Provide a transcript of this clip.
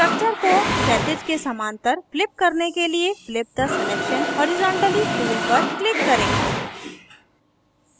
structure को क्षैतिज के समान्तर flip करने के लिए flip the selection horizontally tool पर click करें